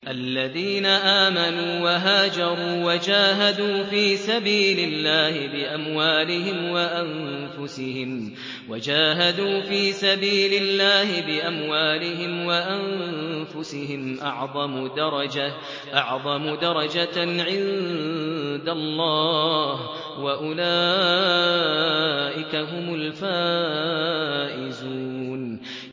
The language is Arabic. الَّذِينَ آمَنُوا وَهَاجَرُوا وَجَاهَدُوا فِي سَبِيلِ اللَّهِ بِأَمْوَالِهِمْ وَأَنفُسِهِمْ أَعْظَمُ دَرَجَةً عِندَ اللَّهِ ۚ وَأُولَٰئِكَ هُمُ الْفَائِزُونَ